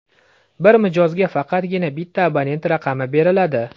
Bir mijozga faqatgina bitta abonent raqami beriladi.